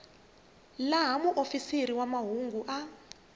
laha muofisiri wa mahungu a